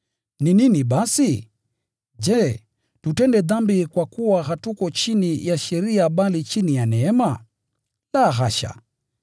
Ni nini basi? Je, tutende dhambi kwa kuwa hatuko chini ya sheria bali chini ya neema? La, hasha!